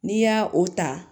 N'i y'a o ta